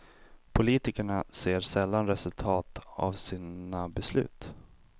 Politikerna ser sällan resultat av sina beslut.